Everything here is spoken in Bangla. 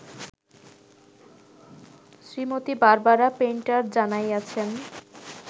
Shrimati Barbara Painter জানাইয়াছেন